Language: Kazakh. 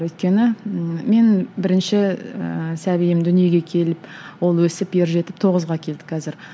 өйткені мен бірінші ііі сәбиім дүниеге келіп ол өсіп ер жетіп тоғызға келді қазір